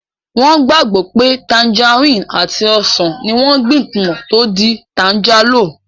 Wọ́n gbàgbọ́ pé tanjarínnì àti ọsàn ní wọ́n gbìn pọ̀ tó di tanjálò